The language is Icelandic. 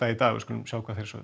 í dag við skulum sjá hvað þeir sögðu